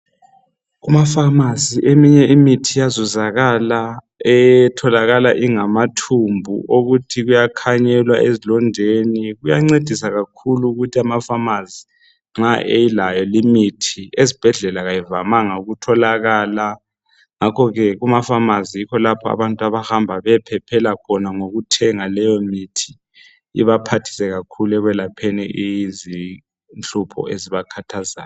Kumafamasi eminye imithi iyazuzakala etholakala ingamathumbu okuthi kuyakhanyelwa ezilondeni. Kuyancedisa kakhulu ukuthi amafamazi nxa elayo imithi ezibhedlela kayivamanga ukutholakala. Ngakho ke kumafamazi yikho lapho abantu abahamba beyephephela khona ngokuthenga leyo mithi ibaphathisa kakhulu ekwelapheni izinhlupho ezibakhathazayo.